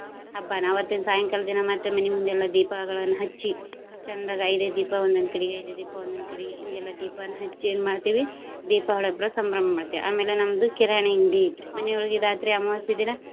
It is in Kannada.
ಹಬ್ಬನಾ ಅವತ್ತಿನ ಸಾಯಂಕಾಲ ದಿನಾ ಮತ್ತೆ ಮನಿ ಮುಂದ ಎಲ್ಲ ದೀಪಗಳನ್ನ ಹಚ್ಚಿ ಚಂದಗೆ ಐದ ಐದ ದೀಪ ಒಂದೊಂದ್ ಕಡೆಗೆ, ಐದೈದ ದೀಪ ಒಂದೊಂದ್ ಕಡೆಗೆ ಹಿಂಗೆಲ್ಲಾ ದೀಪನ ಹಚ್ಚಿ ಏನ್ ಮಾಡ್ತೇವಿ ದೀಪಾವಳಿ ಹಬ್ಬ ಸಂಭ್ರಮ ಮಾಡ್ತೇವಿ. ಆಮ್ಯಾಲ ನಮ್ದು ಕಿರಾಣಿ ಅಂಗಡಿ ಐತ್ರಿ. ಮನಿಯೊಳಗ ಇದ ಆತ್ರಿ ಅಮವಾಸಿ ದಿನ.